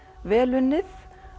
vel unnið